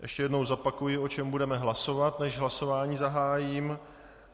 Ještě jednou zopakuji, o čem budeme hlasovat, než hlasování zahájím.